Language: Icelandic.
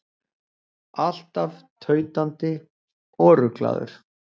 Alltaf tautandi og ruglaður.